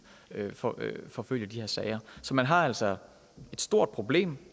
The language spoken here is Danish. forfølge de her sager så man har altså et stort problem